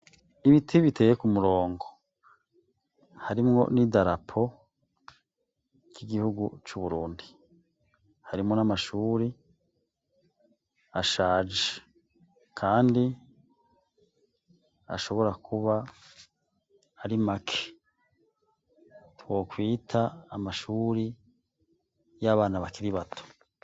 Ibiti biteye ku murongo harimwo n'idarapo k'igihugu c'Uburundi. Harimwo n'amashuri ashaje kandi ashobora kuba ari make twokwita amashuri y'abana bakiri bato.